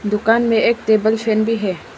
दुकान में एक टेबल फैन भी है।